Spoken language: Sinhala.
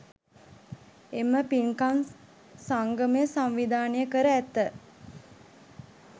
එම පින්කම් සංගමය සංවිධානය කර ඇත.